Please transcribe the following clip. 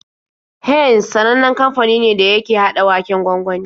Heinz sanannen kamfani ne da yake haɗa waken gwangwani.